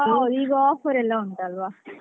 ಹಾ ಈಗ offer ಎಲ್ಲ ಉಂಟಲ್ವ.